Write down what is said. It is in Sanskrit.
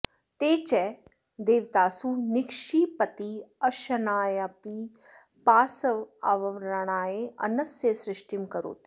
ते च देवतासु निक्षिपति अशनायापिपासावारणाय अन्नस्य सृष्टिं करोति